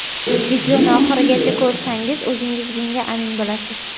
Videoni oxirigacha ko‘rsangiz o‘zingiz bunga amin bo‘lasiz.